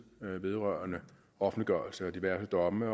vedrørende offentliggørelse af diverse domme